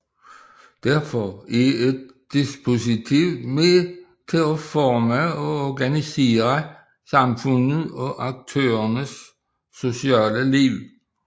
Derfor er et dispositiv med til at forme og organisere samfundet og aktørernes sociale liv